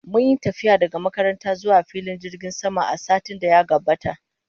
Mun yi tafiya daga makaranta zuwa filin jirgin sama a satin da ya gabata